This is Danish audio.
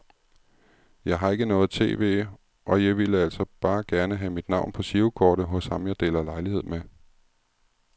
Jeg har ikke noget tv, og jeg ville altså bare gerne have mit navn på girokortet hos ham jeg deler lejlighed med.